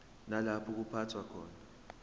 nalapho kuphathwa khona